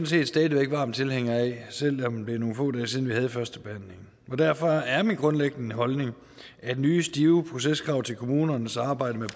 set stadig varm tilhænger af selv om det er nogle få dage siden vi havde førstebehandlingen derfor er min grundlæggende holdning at nye stive proceskrav til kommunernes arbejde med